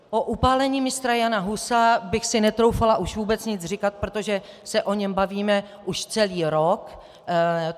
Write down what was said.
O upálení Mistra Jana Husa bych si netroufala už vůbec nic říkat, protože se o něm bavíme už celý rok.